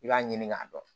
I b'a ɲini k'a dɔn